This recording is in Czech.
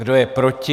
Kdo je proti?